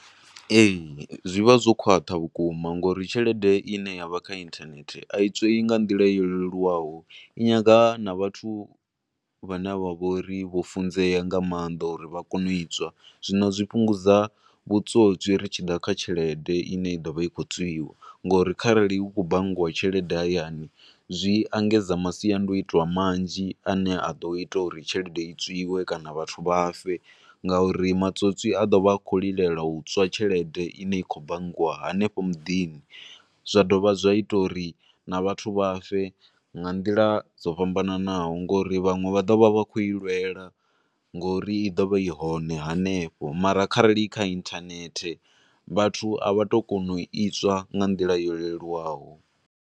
Ee, zwi vha zwo khwaṱha vhukuma ngouri tshelede ine ya vha kha internet a i tswei nga nḓila yo leluwaho, i nyaga na vhathu vhane vha vhori vhofunzea nga maanda uri vha kone u itswa, zwino zwi fhungudza vhutswotswi ri tshi da kha tshelede ine ya do vha i khou tswiwa, ngouri arali hu tshi khou banngiwa tshelede hayani zwi engedza masiandoitwa manzhi a ne a do ita uri tshelede i tswiwe kana vhathu vha fe, nga uri matswotswi a do vha a khou lilela u tswa tshlelede i ne ya khou bangiwa hanefho mudini, zwa dovha zwa ita uri na vhathu vha fe nga nḓila dzo fhambananaho ngo uri vhanwe vha ḓo vha vha khou ilwela ngo uri i ḓo vha ihone hanefho, mara khare i kha internet, vhathu avha tu kona u itswa nga nḓila yo leluwaho.